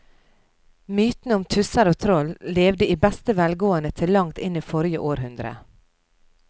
Mytene om tusser og troll levde i beste velgående til langt inn i forrige århundre.